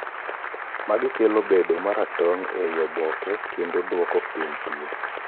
magi kelo bedo maratong ei obokekendo duoko piny tui